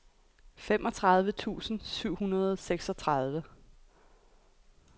femogtredive tusind syv hundrede og seksogtredive